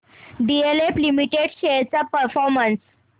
DLF limited shares चा performance